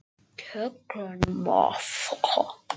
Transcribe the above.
En um leið er allsendis óvíst um framhaldið.